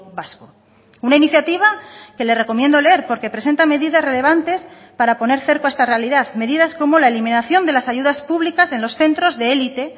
vasco una iniciativa que le recomiendo leer porque presenta medidas relevantes para poner cerco a esta realidad medidas como la eliminación de las ayudas públicas en los centros de élite